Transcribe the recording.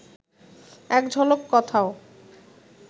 একঝলক কথাও